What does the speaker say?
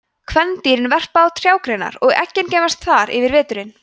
kvendýrin verpa á trjágreinar og eggin geymast þar yfir veturinn